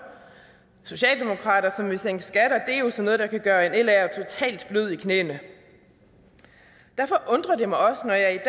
socialdemokratiet som vil sænke skatter er jo sådan noget der kan gøre en laer totalt blød i knæene derfor undrer det mig også når jeg